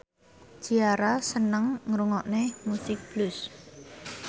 Ciara seneng ngrungokne musik blues